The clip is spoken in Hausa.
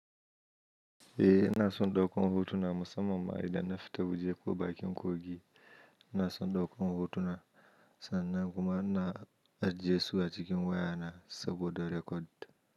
Eh ina son ɗaukan hotuna musamman idan na fita waje ko bakin kogi, ina son ɗaukan hotuna sannan kuma ina ajiyesu a cikin waya na saboda record.